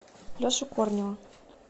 лешу корнева